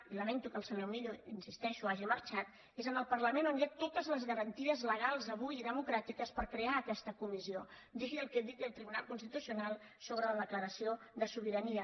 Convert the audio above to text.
i lamento que el senyor millo hi insisteixo hagi marxat és al parlament on hi ha totes les garanties legals avui i democràtiques per crear aquesta comissió digui el que digui el tribunal constitucional sobre la declaració de sobirania